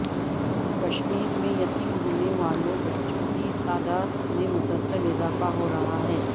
کشمیر میں یتیم ہونے والوں بچوں کی تعداد میں مسلسل اضافہ ہو رہا ہے